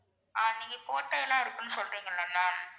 ஆஹ் நீங்க கோட்டை எல்லாம் இருக்குன்னு சொல்றீங்கள்ள ma'am